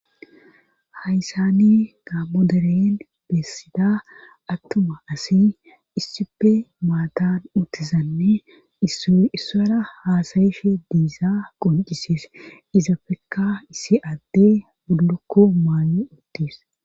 Hayssani gaammoderen beessida attuma asi issipe maatan uttizanne issi issara haasayishe diizaa qoncisiis izapfekka issi adde bullukko maanu uttis